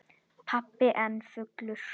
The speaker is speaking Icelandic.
Pabbi enn fullur.